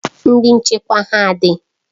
Ndị nchekwa ha dị?